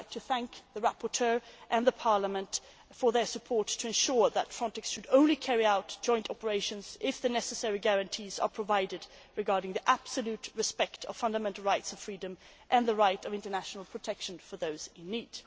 I would like to thank the rapporteur and Parliament for their support in ensuring that FRONTEX should only carry out joint operations if the necessary guarantees are provided regarding absolute respect for fundamental rights and freedoms and the right to international protection of those in need.